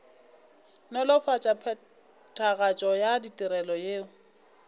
nolofatša phethagatšo ya ditirelo yeo